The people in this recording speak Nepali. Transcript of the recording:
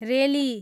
रेली